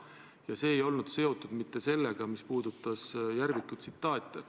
Ja see ei olnud seotud mitte sellega, et te lugesite sealt Järviku tsitaate.